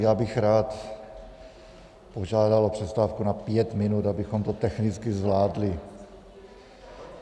Já bych rád požádal o přestávku na pět minut, abychom to technicky zvládli.